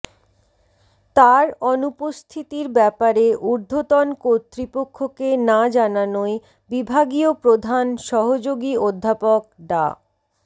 তার অনুপস্থিতির ব্যাপারে ঊর্ধ্বতন কর্তৃপক্ষকে না জানানোয় বিভাগীয় প্রধান সহযোগী অধ্যাপক ডা